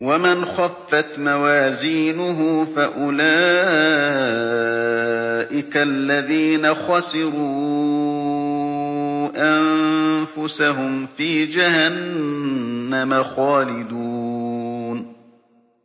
وَمَنْ خَفَّتْ مَوَازِينُهُ فَأُولَٰئِكَ الَّذِينَ خَسِرُوا أَنفُسَهُمْ فِي جَهَنَّمَ خَالِدُونَ